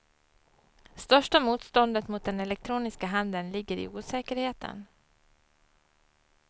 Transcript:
Största motståndet mot den elektroniska handeln ligger i osäkerheten.